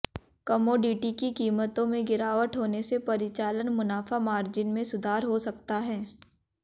commodity की कीमतों में गिरावट होने से परिचालन मुनाफा मार्जिन में सुधार हो सकता है